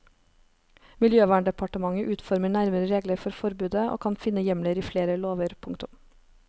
Miljøverndepartementet utformer nærmere regler for forbudet og kan finne hjemler i flere lover. punktum